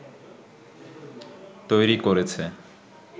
তৈরি করেছে